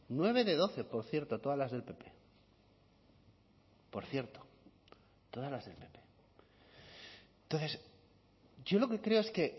nueve de doce por cierto todas las del pp por cierto todas las del pp entonces yo lo que creo es que